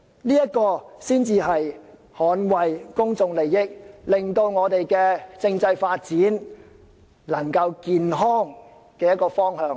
這才是捍衞公眾利益，令我們的政制可以朝着健康的方向發展。